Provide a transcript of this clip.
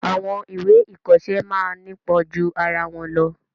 Àwọn ìwé ìkoọsẹ́ máa ńipon ju arawọn lọ